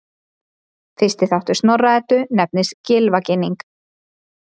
Fyrsti þáttur Snorra-Eddu nefnist Gylfaginning.